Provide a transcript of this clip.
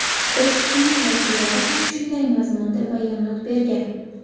Qo‘shiqchining vakillari ham shunday mazmunda bayonot bergan.